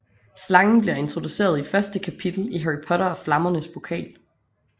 Slangen bliver introduceret i første kapitel i Harry Potter og Flammernes Pokal